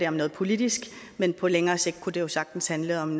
om noget politisk men på længere sigt kunne det jo sagtens handle om